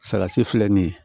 Salati filɛ nin ye